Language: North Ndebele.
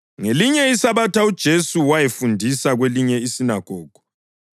Ngelinye iSabatha uJesu wayefundisa kwelinye isinagogu,